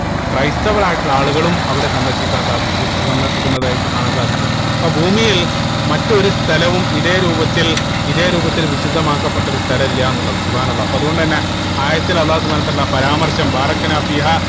ക്രൈസ്തവരായിട്ടുള്ള ആളുകളും അവിടെ സന്ദർശിക്കാൻ സാധിക്കു സന്ദർശിക്കുന്നതായിട്ട് കാണാൻ സാധിക്കും അപ്പൊ ഭൂമിയിൽ മറ്റൊരു സ്ഥലവും ഇതേ രൂപത്തിൽ ഇതേ രൂപത്തിൽ വിശുദ്ധമാക്കപ്പെട്ട ഒരു സ്ഥലം ഇല്ലാന്ന് ഉള്ളത് അല്ലാഹ് അപ്പൊ അതുകൊണ്ട് തന്നെ ആയത്തിൽ അള്ളാഹു സുബ്‌ഹാനഉ വതാല പരാമർശം